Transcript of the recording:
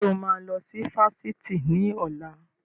Ṣé o máa lọ sí Fáṣítì ni ọ̀la?